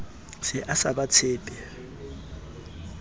se a sa ba tshepe